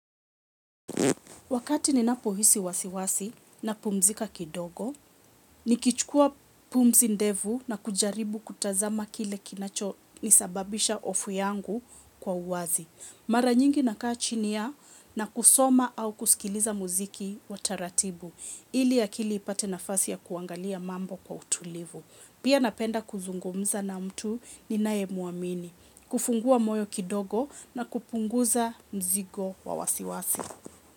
Wakati ninapohisi wasiwasi napumzika kidogo, nikichukua pumzi ndevu nakujaribu kutazama kile kinachonisababisha hofu yangu kwa uwazi. Mara nyingi nakaa chini na kusoma au kusikiliza muziki wa taratibu, ili akili ipate nafasi ya kuangalia mambo kwa utulivu. Pia napenda kuzungumza na mtu ninayemuamini, kufungua moyo kidogo na kupunguza mzigo wa wasiwasi.